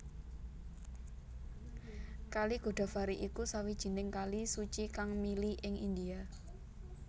Kali Godavari iku sawijining kali suci kang mili ing India